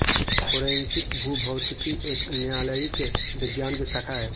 forensic भूभौतिकी एक न्यायालयिक विज्ञान की शाखा है